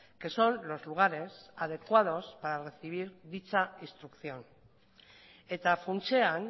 que son los lugares adecuados para recibir dicha instrucción eta funtsean